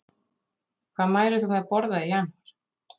Hvað mælir þú með að borða í janúar?